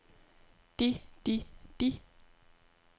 de de de